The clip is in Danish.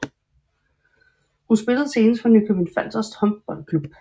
Hun spillede senest for Nykøbing Falster Håndboldklub